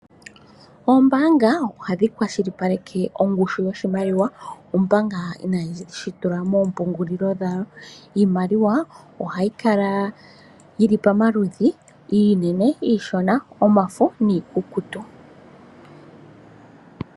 Ombaanga ohadhi kwashilipaleke ongushu yoshimaliwa omanga inayeyi tula moompungulilo dhawo. Iimaliwa ohayi kala yili pamaludhi iinene, iishona, omafo, niikukutu.